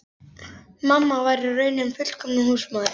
Mamma var í raun hin fullkomna húsmóðir.